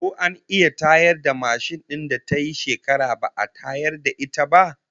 Ko an iya tayar da mashin din da tayi shekara ba'a tayar da ita ba?